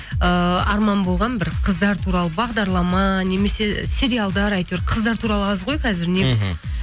ыыы арман болған бір қыздар туралы бағдарлама немесе сериалдар әйтеуір қыздар туралы аз ғой қазір не